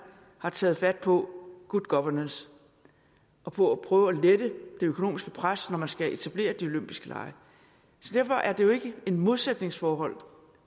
har taget fat på good governance og på at prøve at lette det økonomiske pres når man skal etablere de olympiske lege derfor er det jo ikke et modsætningsforhold